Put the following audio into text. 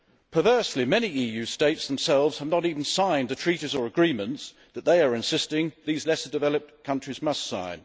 Perversely, many EU states themselves have not even signed the treaties or agreements that they are insisting these lesser developed countries must sign.